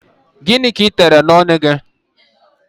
Gịnị ka ị tere n'ọnụ gị?